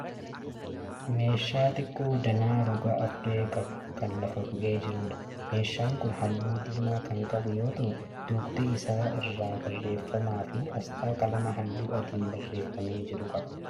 Meeshaa xiqqaa danaa roga arfee qabu kan lafa bu'ee jiruudha. Meeshaan kun halluu diimaa kan qabu yoo ta'u dugda isaa irraa barreeffamaa fi asxaa qalama halluu adiin barreeffamee jiru qaba.